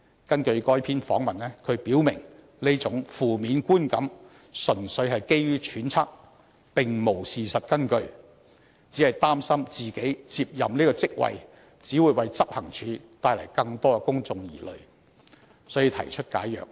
根據該篇訪問，他表明這種負面觀感純粹基於揣測，並無事實根據，只是擔心自己接任這職位會為執行處帶來更多公眾疑慮，所以才提出解約。